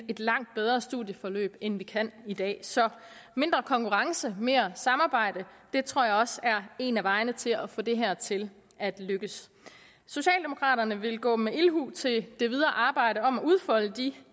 langt bedre studieforløb end vi kan i dag så mindre konkurrence mere samarbejde det tror jeg også er en af vejene til at få det her til at lykkes socialdemokraterne vil gå med ildhu til det videre arbejde om at udfolde de